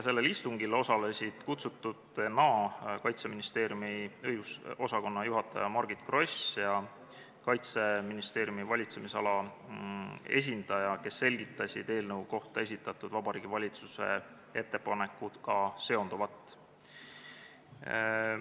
Sellel istungil osalesid kutsututena Kaitseministeeriumi õigusosakonna juhataja Margit Gross ja Kaitseministeeriumi valitsemisala esindaja, kes selgitasid eelnõu kohta esitatud Vabariigi Valitsuse ettepanekuga seonduvat.